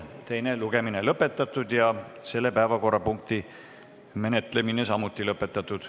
Teine lugemine on lõpetatud ja selle päevakorrapunkti menetlemine samuti lõpetatud.